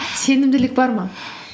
сенімділік бар ма